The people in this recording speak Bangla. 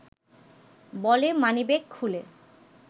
বলে মানিব্যাগ খুলে